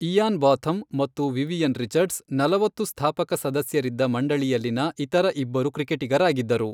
Ian Botham ಮತ್ತು Vivian Richards, ನಲವತ್ತು ಸ್ಥಾಪಕ ಸದಸ್ಯರಿದ್ದ ಮಂಡಳಿಯಲ್ಲಿನ ಇತರ ಇಬ್ಬರು ಕ್ರಿಕೆಟಿಗರಾಗಿದ್ದರು.